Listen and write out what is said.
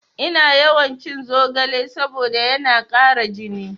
Ina yawan cin zogale saboda yana ƙara jini